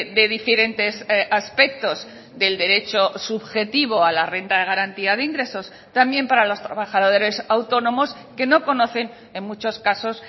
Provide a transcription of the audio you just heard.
de diferentes aspectos del derecho subjetivo a la renta de garantía de ingresos también para los trabajadores autónomos que no conocen en muchos casos